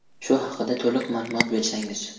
Shu haqida to‘liq ma’lumot bersangiz.